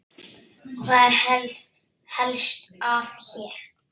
Hvað er helst að hér?